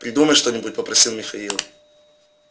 придумай что-нибудь попросил михаил